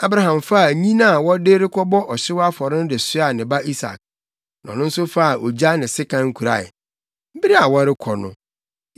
Abraham faa nnyina a wɔde rekɔbɔ ɔhyew afɔre no de soaa ne ba Isak. Na ɔno nso faa ogya ne sekan kurae. Bere a wɔrekɔ no,